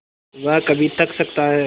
वह कभी थक सकता है